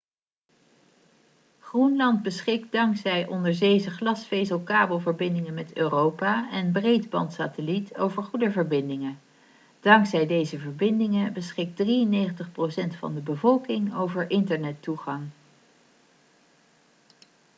groenland beschikt dankzij onderzeese glasvezelkabelverbindingen met europa en breedbandsatelliet over goede verbindingen dankzij deze verbindingen beschikt 93% van de bevolking over internettoegang